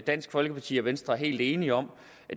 dansk folkeparti og venstre er helt enige om